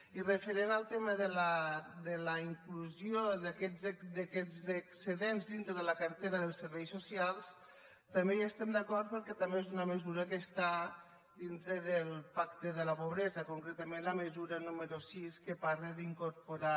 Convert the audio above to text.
i referent al tema de la inclusió d’aquests excedents dintre de la cartera dels serveis socials també hi estem d’acord perquè també és una mesura que està dintre del pacte contra la pobresa concretament la mesura número sis que parla d’incorporar